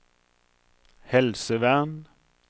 helsevern